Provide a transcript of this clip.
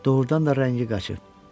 Doğrudan da rəngi qaçıb.